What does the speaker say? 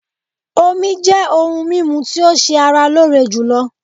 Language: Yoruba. Omí jẹ́ òhún mímú tí o ṣé ara lóore jùlọ.